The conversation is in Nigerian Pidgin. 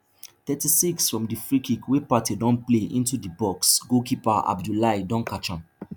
thirty-sixfrom di freekick wey partey don play into di box goalkeeper abiboulaye don colect am